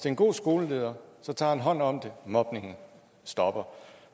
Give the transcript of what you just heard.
en god skoleleder tager han hånd om det og mobningen stopper